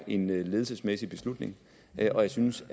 en ledelsesmæssig beslutning og jeg synes